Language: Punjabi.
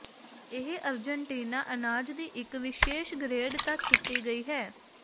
ਇਹ ਅਰਜਨਟੀਨਾ ਅਨਾਜ ਦੀ ਇੱਕ ਵਿਸ਼ੇਸ਼ ਗਰੇਡ ਤੱਕ ਕੀਤੀ ਗਈ ਹੈ